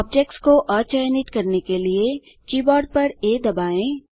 objects को अचयनित करने के लिए कीबोर्ड पर आ दबाएँ